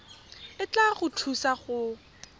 e tla go thusa go